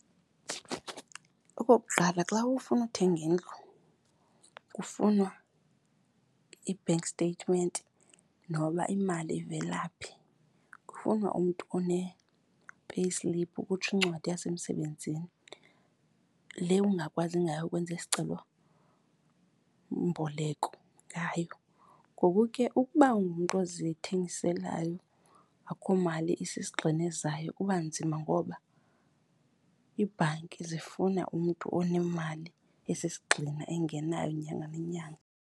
Okokuqala, xa ufuna ukuthenga indlu kufunwa i-bank statement noba imali ivela phi. Kufunwa umntu one-payslip, ukutsho incwadi yasemsebenzini le ungakwazi ngayo ukwenza isicelomboleko ngayo. Ngoku ke ukuba ungumntu ozithengiselayo akukho mali esisigxina ezayo kuba nzima ngoba iibhanki zifuna umntu onemali esisigxina engenayo nyanga nenyanga.